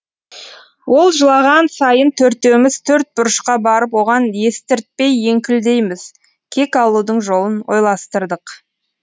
ол жылаған сайын төртеуміз төрт бұрышқа барып оған естіртпей еңкілдейміз кек алудың жолын ойластырдық